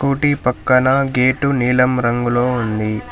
స్కూటి పక్కన గేటు నీలం రంగులో ఉంది.